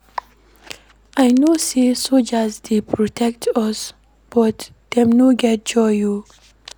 I know sey soldiers dey protect us but dem no get joy o.